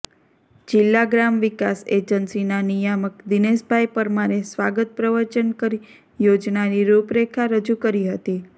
જિલ્લા ગ્રામ વિકાસ એજન્સીના નિયામક દિનેશભાઇ પરમારે સ્વાગત પ્રવચન કરી યોજનાની રૂપરેખા રજૂ કરી હતી